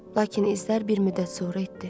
Lakin izlər bir müddət sonra itdi.